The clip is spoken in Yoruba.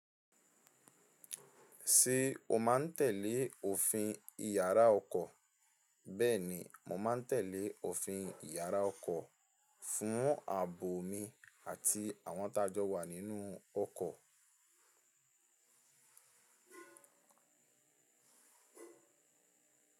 Ti o máa ń tẹ̀lé òfin ìyàrá ọkọ̀? Bẹ́ẹ̀ni, mo máa ń tẹ̀lé òfin ìyàrá ọkọ̀ fún ààbò mi àti àwọn tájọ́ wa nínú ọkọ̀.